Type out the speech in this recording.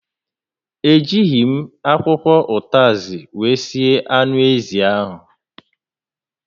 E jighi m akwụkwọ ụtazị wee sie anụ ézì áhụ̀